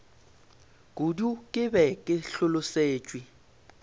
kudu ke be ke hlolosetšwe